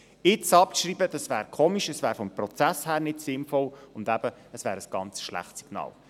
Jetzt abschreiben wäre merkwürdig, wäre vom Prozess her nicht sinnvoll und eben ein ganz schlechtes Signal.